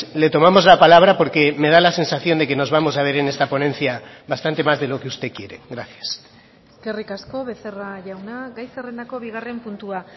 le tomamos la palabra porque me da la sensación de que nos vamos a ver en esta ponencia bastante más de lo que usted quiere gracias eskerrik asko becerra jauna gai zerrendako bigarren puntua